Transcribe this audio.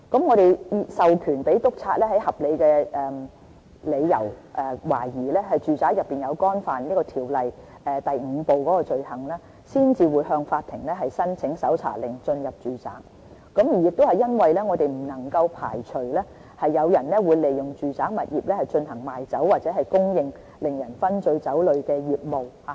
我們授權督察在有合理理由懷疑有人在住宅干犯條例第5部的罪行時，才會向法庭申請搜查令進入住宅，因為我們不能排除有人會利用住宅物業賣酒或供應令人醺醉酒類的業務，給予未成年人。